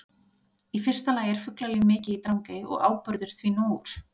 Í fyrsta lagi er fuglalíf mikið í Drangey og áburður því nógur.